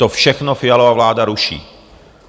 To všechno Fialova vláda ruší.